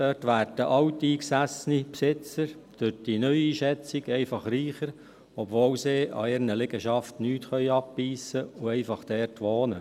Dort werden alteingesessene Besitzer durch die neue Schätzung einfach reicher, obwohl sie von ihrer Liegenschaft nichts abbeissen können und einfach dort wohnen.